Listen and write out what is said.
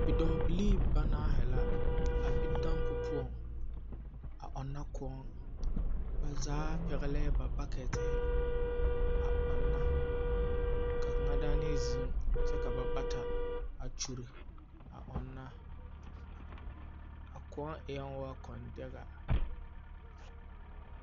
Bidɔɔbilii banaahe la a be dampo poɔŋ a ɔnna koɔŋ. Ba zaa pɛgelɛɛ ba baketeehe a ɔnna. Ka kaŋa daana ziŋ kyɛ ka ba bata a kyuri a ɔnna. A kõɔ ẽɛɔ kɔndɛga.